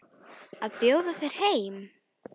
Að bjóða þér heim.